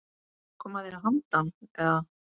Koma þeir að handan, eða?